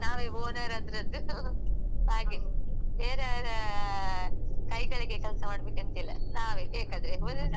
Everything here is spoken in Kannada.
ಬೇರೆ ಅವ್ರಾ ಕೈ ಕೆಳ್ಗೆ ಕೆಲ್ಸ ಮಾಡ್ಬೇಕಂತಿಲ್ಲ ನಾವೇ ಬೇಕಾದ್ರೆ ಹೊಲ್ದೆ ಇದ್ದ್ರೂ ಹೌದು ಮತ್ತೆ.